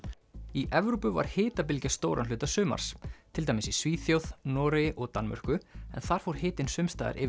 í Evrópu var hitabylgja stóran hluta sumars til dæmis í Svíþjóð Noregi og Danmörku en þar fór hitinn sums staðar yfir